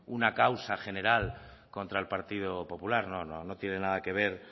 una causa general contra el partido popular no no tiene nada que ver